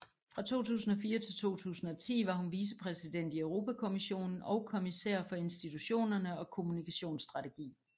Fra 2004 til 2010 var hun vicepræsident i Europakommissionen og kommissær for institutionerne og kommunikationsstrategi